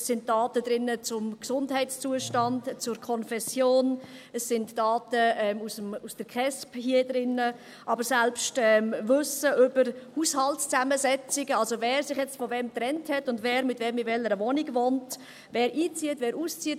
Es sind Daten zum Gesundheitszustand und zur Konfession drin, es sind Daten der Kindes- und Erwachsenenschutzbehörde (KESB), aber selbst Wissen über Haushaltzusammensetzungen, also wer sich jetzt von wem getrennt hat und wer mit wem in welcher Wohnung wohnt, wer einzieht, wer auszieht.